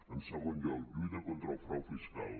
en segon lloc lluita contra el frau fiscal